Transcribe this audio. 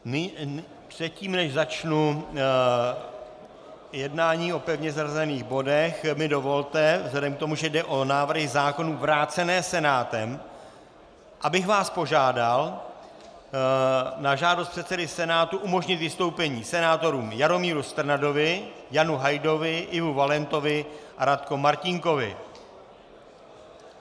Předtím, než začnu jednání o pevně zařazených bodech, mi dovolte vzhledem k tomu, že jde o návrhy zákonů vrácené Senátem, abych vás požádal na žádost předsedy Senátu umožnit vystoupení senátorům Jaromíru Strnadovi, Janu Hajdovi, Ivu Valentovi a Radko Martínkovi.